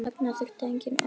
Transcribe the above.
Þarna þurfti engin orð.